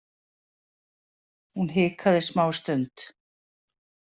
Hún hikaði smástund.